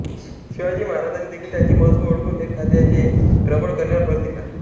शिवाजी महाराजांनीदेखील त्यांचे महत्त्व ओळखून हेरखाते प्रबळ करण्यावर भर दिला